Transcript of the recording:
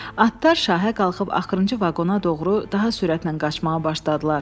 Atlar şahə qalxıb axırıncı vaqona doğru daha sürətlə qaçmağa başladılar.